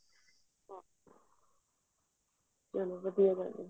ਚਲੋ ਵਧੀਆ ਗੱਲ ਐ